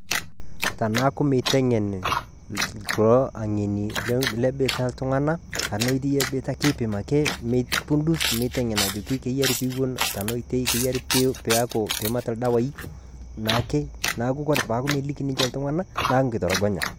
Taaku meiteng'en kuloo ang'eni le bitia ltung'ana ana otoi e bitia keipim ake meipudus meiteng'eni akoji keyaari pii wuen tenaa otei keyaari piiaku pee mieta ldawai naake naaku kore paaku meeleki ninchee ltung'ana naaku nkitorogana.